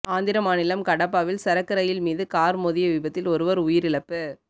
ஆந்திர மாநிலம் கடப்பாவில் சரக்கு ரயில் மீது கார் மோதிய விபத்தில் ஒருவர் உயிரிழப்பு